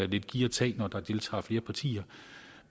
lidt giv og tag når der deltager flere partier